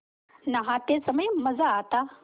नहाते समय मज़ा आता